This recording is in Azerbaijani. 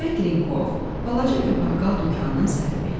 Andrey Trenkov balaca bir baqqal dükanının sahibi idi.